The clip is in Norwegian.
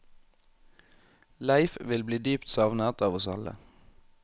Leif vil bli dypt savnet av oss alle.